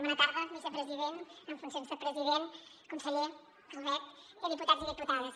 bona tarda vicepresident amb funcions de president conseller calvet i diputats i diputades